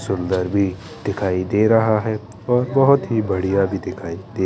सुंदर भी दिखाई दे रहा है और बहुत ही बढ़िया भी दिखाई दे--